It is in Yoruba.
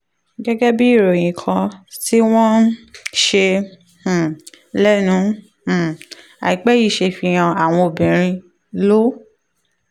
gẹ́gẹ́ bí ìròyìn kan tí wọ́n um ṣe um lẹ́nu um àìpẹ́ yìí ṣe fi hàn àwọn obìnrin ló